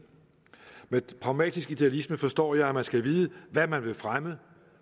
med pragmatisk idealisme forstår jeg at man skal vide hvad man vil fremme